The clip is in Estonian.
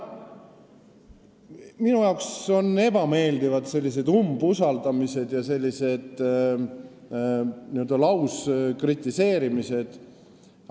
Minule on sellised umbusaldamised ja n-ö lauskritiseerimised ebameeldivad.